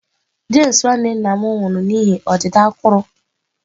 James nwanne nna m nwụrụ n'ihi ọdịda akụrụ.